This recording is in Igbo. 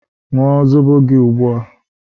ṅụọ zobo gị ugbu a!